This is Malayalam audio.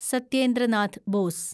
സത്യേന്ദ്ര നാഥ് ബോസ്